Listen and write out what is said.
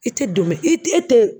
I tɛ don i i tɛ